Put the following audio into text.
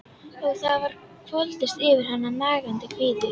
Og það hvolfdist yfir hann nagandi kvíði.